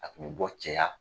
A kun bɛ bɔ cɛya